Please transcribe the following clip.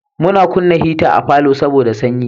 Mun kunna hita a falonmu saboda sanyi.